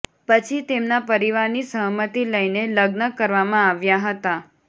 પછી તેમના પરિવારની સહમતી લઈને લગ્ન કરવામાં આવ્યાં હતાં